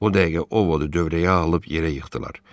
O dəqiqə Ovod dörəyə alıb yerə yıxdılar.